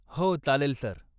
हो, चालेल, सर.